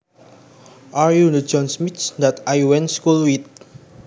Are you the John Smith that I went school with